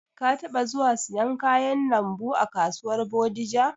Ka taɓa zuwa siyan kayan lambu a kasuwar Bodija?